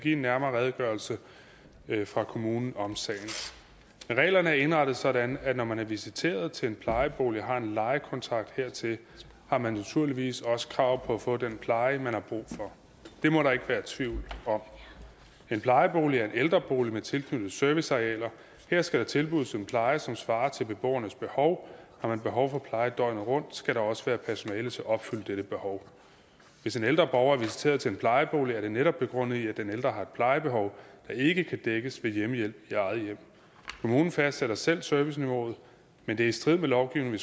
en nærmere redegørelse fra kommunen om sagen reglerne er indrettet sådan at når man er visiteret til en plejebolig og har en lejekontrakt hertil har man naturligvis også krav på at få den pleje man har brug for det må der ikke være tvivl om en plejebolig er en ældrebolig med tilknyttede servicearealer her skal der tilbydes en pleje som svarer til beboernes behov har man behov for pleje døgnet rundt skal der også være personale til at opfylde dette behov hvis en ældre borger er visiteret til en plejebolig er det netop begrundet i at den ældre har et plejebehov der ikke kan dækkes ved hjemmehjælp i eget hjem kommunen fastsætter selv serviceniveauet men det er i strid med lovgivningen